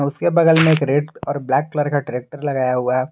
उसके बगल में एक रेड और ब्लैक कलर का ट्रैक्टर लगाया हुआ है।